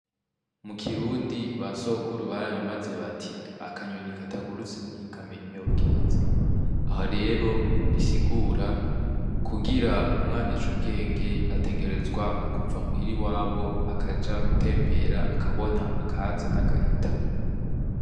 Mu kirundi ba sokuru barayamaze bati akanyoni katagurutse ntikamenya iyo bweze. Aho rero bisigura: kugira umwana ace ubwenge ategerezwa kuva muhira iwabo akaja gutembera, akabona akaza n'agahita.